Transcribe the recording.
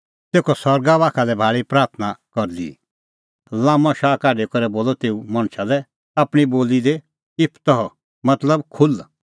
तेखअ सरगा बाखा लै भाल़ी लाम्मअ शाह काढी करै बोलअ तेऊ मणछा लै आपणीं बोली दी इप्फतह मतलब खुल्ह